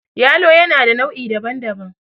yalo yana da nau' I daban-daban